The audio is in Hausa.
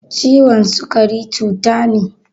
Ciwon sukari cuta ne